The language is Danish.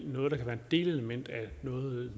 noget der kan være et delelement af noget